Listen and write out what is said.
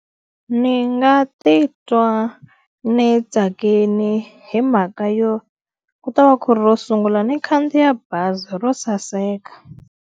Ni nga titwa ni tsakile hi mhaka yo, ku ta va ku ri ro sungula ni khandziya bazi ro saseka.